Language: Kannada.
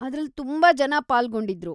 ಅದ್ರಲ್ಲಿ ತುಂಬಾ ಜನ ಪಾಲ್ಗೊಂಡಿದ್ರು.